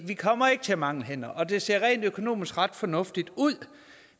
vi kommer ikke til at mangle hænder det ser rent økonomisk ret fornuftigt ud